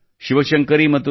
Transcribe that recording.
ಶಿವಶಂಕರಿ ಮತ್ತು ಎ